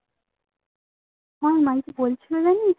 আমার মা কি বলছিলো জানিস